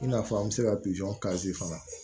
I n'a fɔ an bɛ se ka fana